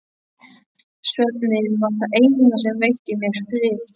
Svefninn var það eina sem veitti mér frið.